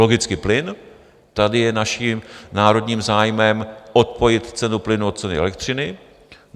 Logicky plyn, tady je naším národním zájmem odpojit cenu plynu od ceny elektřiny.